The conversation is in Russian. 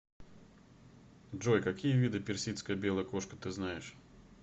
джой какие виды персидская белая кошка ты знаешь